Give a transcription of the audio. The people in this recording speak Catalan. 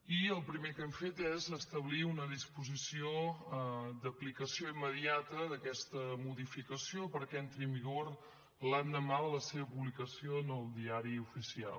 i el primer que hem fet és establir una disposició d’aplicació immediata d’aquesta modificació perquè entri en vigor l’endemà de la seva publicació en el diari oficial